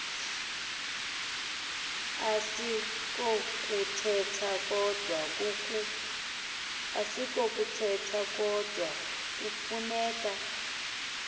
asikokuthetha kodwa kufuneka